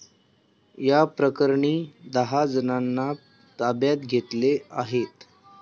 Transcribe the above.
याप्रकरणी दहाजणांना ताब्यात घेतले आहे.